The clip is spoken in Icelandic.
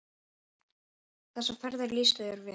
Þessar ferðir lýstu þér vel.